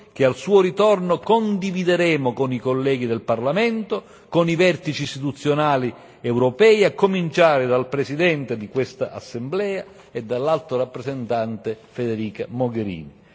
che, al suo ritorno, condivideremo con i colleghi del Parlamento e con i vertici istituzionali europei, a cominciare dal Presidente di questa assemblea e dall'Alto rappresentante Federica Mogherini.